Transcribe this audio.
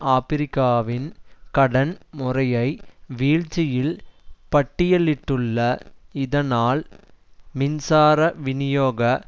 ஆபிரிக்ககாவின் கடன் முறையை வீழ்ச்சியில் பட்டியலிட்டுள்ள இதனால் மின்சார வினியோக